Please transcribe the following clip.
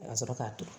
Ka sɔrɔ k'a turu